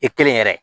I kelen yɛrɛ